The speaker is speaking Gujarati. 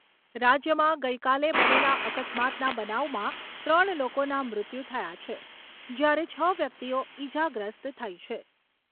રાજ્યમાં ગઈકાલે બનેલા અકસ્માતના બનાવમાં ત્રણ લોકોના મૃત્યુ થયા છે, જ્યારે છ વ્યક્તિઓ ઈજાગ્રસ્ત થઈ છે.